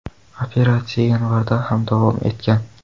Operatsiya yanvarda ham davom etgan.